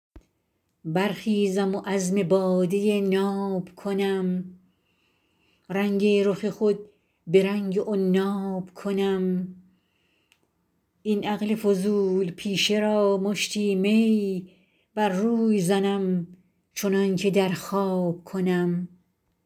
برخیزم و عزم باده ناب کنم رنگ رخ خود به رنگ عناب کنم این عقل فضول پیشه را مشتی می بر روی زنم چنان که در خواب کنم